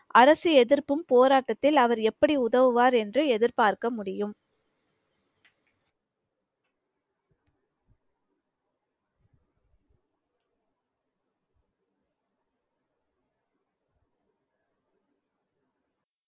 அரசு எதிர்ப்பும் போராட்டத்தில் அவர் எப்படி உதவுவார் என்று எதிர்பார்க்க முடியும்